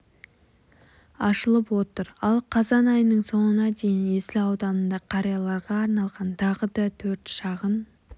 ашылып отыр ал қазан айының соңына дейін есіл ауданында қарияларға арналған тағы да төрт шағын